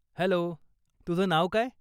Hello, तुझं नाव काय?